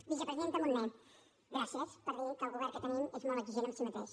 vicepresidenta munté gràcies per dir que el govern que tenim és molt exigent amb si mateix